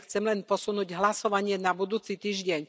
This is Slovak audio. Ja chcem len posunúť hlasovanie na budúci týždeň.